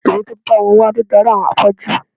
Ọkùnrin tó bá wọn wá ló darí àwọn afọ́jú